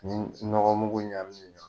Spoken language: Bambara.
Ni nɔgɔ mugu ɲamine